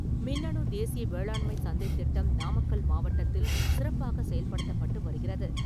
மின்னணு தேசிய வேளாண்மை சந்தை திட்டம் நாமக்கல் மாவட்டத்தில் சிறப்பாக செயல்படுத்தப்பட்டு வருகிறது.